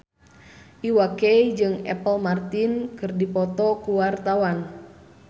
Iwa K jeung Apple Martin keur dipoto ku wartawan